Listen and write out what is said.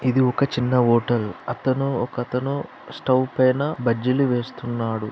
ఇది ఒక చిన్న హోటల్. అతను ఒకతను స్టవ్ పైన బజ్జీలు వేస్తున్నాడు.